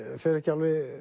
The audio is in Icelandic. fer ekki